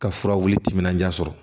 Ka furabulu timinandiya sɔrɔ